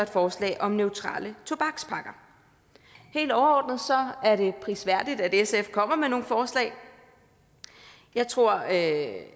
forslag om neutrale tobakspakker helt overordnet er det prisværdigt at sf kommer med nogle forslag jeg tror at